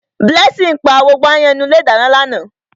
Blessing pa gbogbo áyán inú ilé ìdáná lánàá.